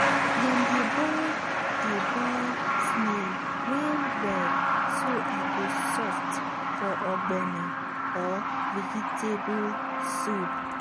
dem dey boil dey boil snail well well so e go soft for ogbono or vegetable soup.